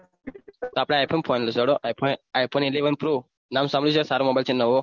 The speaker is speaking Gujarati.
તો આપડે i phone phone લેશો હેડો i phone ઈલેવન પ્રો નામ સાંભળ્યું છે સારો mobile નવો